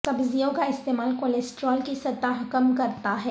سبزیوں کا استعمال کولسٹرول کی سطح کم کرتا ہے